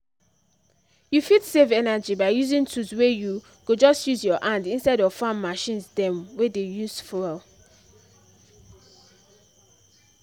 you fit save energy by using tools wey you go just use your hand instead of farm machines dem wey dey use fuel